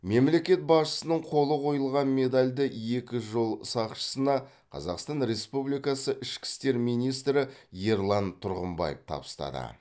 мемлекет басшысының қолы қойылған медальді екі жол сақшысына қазақстан республикасы ішкі істер министрі ерлан тұрғымбаев табыстады